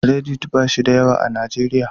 Reddit ba shi da yawa a Najeriya.